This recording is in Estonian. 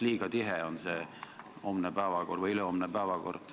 Liiga tihe on see ülehomne päevakord võrreldes neljapäevaga.